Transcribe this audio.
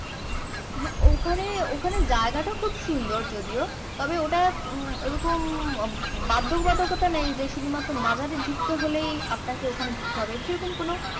হ্যাঁ ওখানে ওখানে জায়গাটা খুব সুন্দর যদিও তবে ওটা উম ওরকম বাদ্য বাদকতা নেই যে শুধু মাত্র মাজারের ঢুকতে হলেই আপনাকে ওখানে ঢুকতে হবে সেরকম কোনো